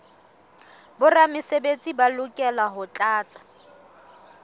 boramesebetsi ba lokela ho tlatsa